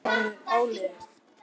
Hins vegar var orðið áliðið.